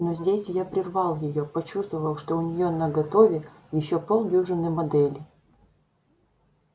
но здесь я прервал её почувствовав что у нее наготове ещё полдюжины моделей